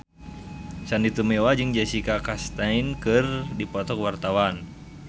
Sandy Tumiwa jeung Jessica Chastain keur dipoto ku wartawan